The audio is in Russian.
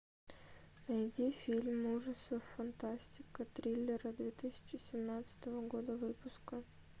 найди фильм ужасов фантастика триллер две тысячи семнадцатого года выпуска